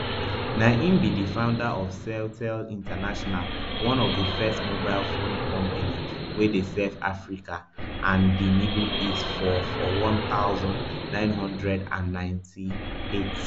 na im be di founder of celtel international one of di first mobile phone companies wey dey serve africa and di middle east for for one thousand, nine hundred and ninety-eight